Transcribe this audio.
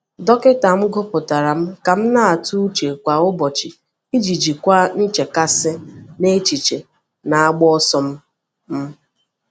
Dọkịta m gụpụtara m ka m na-atụ uche kwa ụbọchị iji jikwaa nchekasị na echiche na-agba ọsọ m. m.